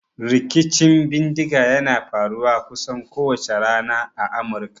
Rikicin bindiga yana faruwa kusan kowace rana a Amurka.